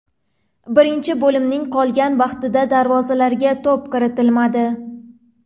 Birinchi bo‘limning qolgan vaqtida darvozalarga to‘p kiritilmadi.